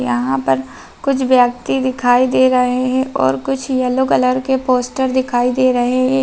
यहाँ पर कुछ व्यक्ति दिखाई दे रहे हैं और कुछ येलो कलर के पोस्टर दिखाई दे रहे --